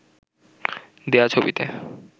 দেয়া ছবিতে